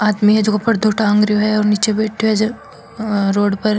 आदमी है जको पर्दो टांग रो है जो नीचे बैठयो है रोड पर।